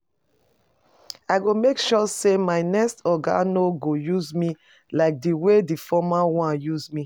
I go make sure say my next oga no go use me like the way the former one use me